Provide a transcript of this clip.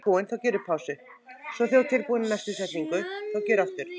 Það bætist alltaf í hópinn.